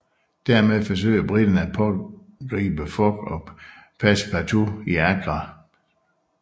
Dermed forsøger briterne at pågribe Fogg og Passepartout i Agra